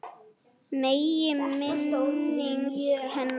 Megi minning hennar lifa.